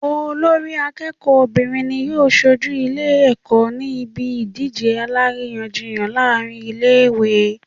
Olórí akéèkó obìnrin ni yóò sojú Ilé èkó ní ibi ìdíje aláríyànjiyàn láàrin Ilé ìwé